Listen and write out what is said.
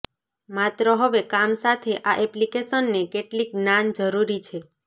માત્ર હવે કામ સાથે આ એપ્લિકેશનને કેટલીક જ્ઞાન જરૂરી છે